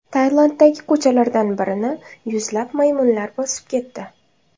Tailanddagi ko‘chalardan birini yuzlab maymunlar bosib ketdi .